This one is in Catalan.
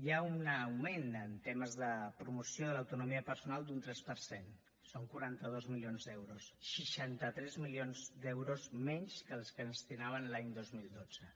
hi ha un augment en temes de promoció de l’autonomia personal d’un tres per cent són quaranta dos milions d’euros seixanta tres milions d’euros menys que els que es destinaven l’any dos mil dotze